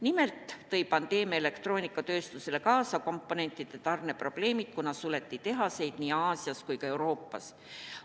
Nimelt tõi pandeemia elektroonikatööstusele kaasa komponentide tarne probleemid, kuna suleti tehaseid nii Aasias kui ka Euroopas.